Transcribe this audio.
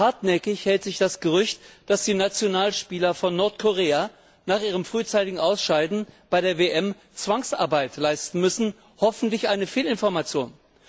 Hartnäckig hält sich das Gerücht, dass die Nationalspieler von Nordkorea nach ihrem frühzeitigen Ausscheiden bei der WM Zwangsarbeit leisten müssen hoffentlich eine Fehlinformation.